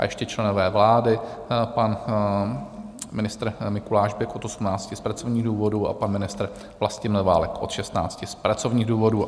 A ještě členové vlády: pan ministr Mikuláš Bek od 18 z pracovních důvodů a pan ministr Vlastimil Válek od 16 z pracovních důvodů.